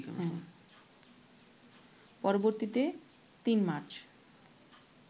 পরবর্তীতে ৩ মার্চ